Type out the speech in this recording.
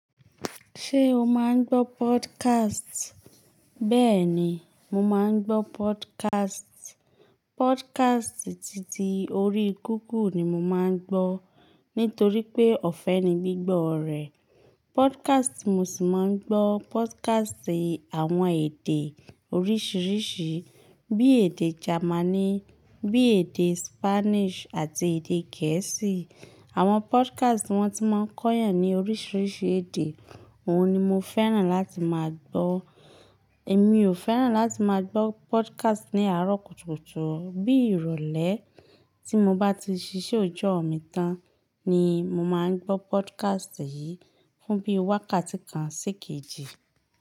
Ṣé o máa ń gbọ́ podcast? Bẹ́ẹ̀ni, mo máa ń gbọ́ podcast. Podcast titi orí google ni mo máa ń gbọ́ nítorí pé ọ̀fẹ́ ni gbígbọ́ rẹ̀. Podcast tí mo sì máa ń gbọ́ podcast àwọn èdè oríṣiríṣi bí èdè Jamaní, bí èdè Spanish àti èdè Gẹ̀ẹ́sì. Àwọn podcast tí wọ́n ti máa ń kọ́yàn ní oríṣiríṣi èdè. Òhun ni mo fẹ́ràn láti máa gbọ́. Èmi ò fẹ́ràn láti máa gbọ́ podcast ní àárọ̀ kùtùkùtù. Bí ìrọ̀lẹ́ tí mo bá ti ṣiṣẹ́ òòjọ́ mi tán ni mo máa ń gbọ́ podcast yìí fún bí wákàtí kan sí kejì.